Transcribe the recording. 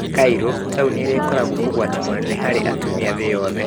Cairo, taũni ĩrĩa ĩkoragwo ũgwati mũnene harĩ atumia thĩ yothe